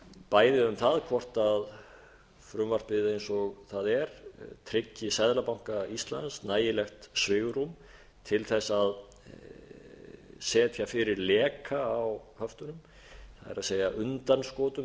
bæði um það hvort frumvarpið eins og það er tryggi seðlabanka íslands nægilegt svigrúm til þess að setja fyrir leka á höftunum það er undanskotum eða